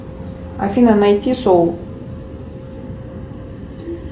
афина найти соул